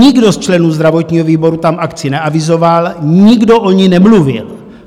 Nikdo z členů zdravotního výboru tam akci neavizoval, nikdo o ní nemluvil.